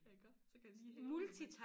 Ja iggå så kan de lige hæve imens